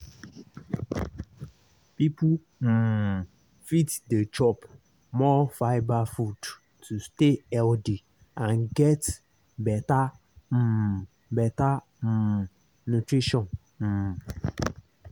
people um fit dey chop more fibre food to stay healthy and get better um better um nutrition. um